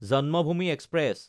Janmabhoomi express